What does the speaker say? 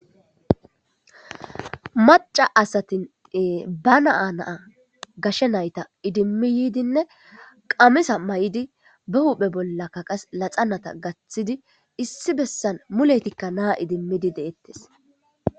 Mac'a asati na'a ba na'a gashe nayta idimi yidinne qamisa mayidi ba huphphe bolla laxana gathidi issi besan muletikka na idimidi de'etes.